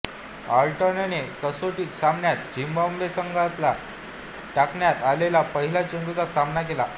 आर्नॉटने कसोटी सामन्यात झिम्बाब्वे संघाला टाकण्यात आलेल्या पहिल्या चेंडूचा सामना केला